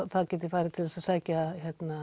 það geti farið til þess að sækja